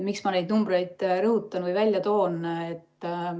Miks ma neid numbreid rõhutan või välja toon?